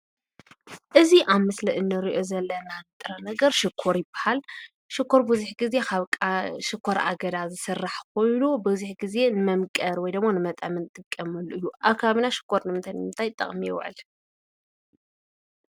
እዚ ኣብ ምስሊ ንሪኦ ዘለና ጥረ ነገር ሽኮር ይባሃል። ሽኮር ብዙሕ ጊዜ ካብ ሽኮር ኣገዳ ዝስራሕ ኾይኑ ብዙሕ ጊዜ ንመምቀሪ ወይድማ ንመጥዐሚ ንጥቀመሉ እዩ። ኣብ ከባቢና ሽኮር ንምንታይ ንምንታይ ጥቕሚ ይውዕል?